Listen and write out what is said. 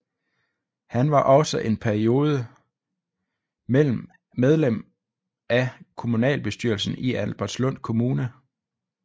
Han var også en periode medlem af kommunalbestyrelsen i Albertslund Kommune